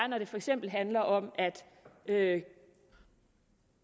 når det for eksempel handler om at